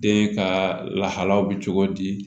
Den ka lahalaw bɛ cogo di